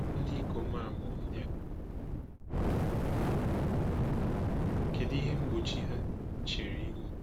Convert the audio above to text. Ndị ikom a bụ ndị a, kedu ihe mgbochi ha chere ihu?